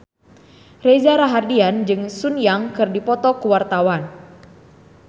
Reza Rahardian jeung Sun Yang keur dipoto ku wartawan